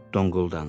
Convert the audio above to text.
Donquldandı.